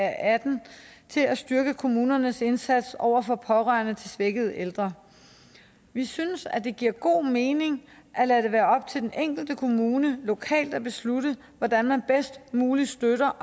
atten til at styrke kommunernes indsats over for pårørende til svækkede ældre vi synes det giver god mening at lade det være op til den enkelte kommune lokalt at beslutte hvordan man bedst muligt støtter